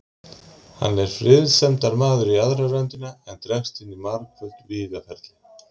Hann er friðsemdarmaður í aðra röndina, en dregst inn í margföld vígaferli.